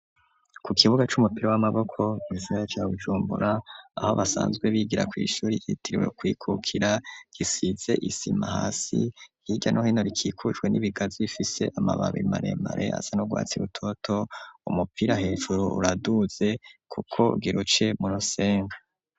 Ku kibuga c'umupira w'amaboko mugisagara ca Bujumbura ,aho basanzwe bigira kw' ishuri yitiriwe kwikukira, gisize isima hasi yirya no hino rikikujwe n'ibigazi ifise amababi maremare asanugwatsi rutoto, umupira hejuru uraduze kuko giruce murusenga.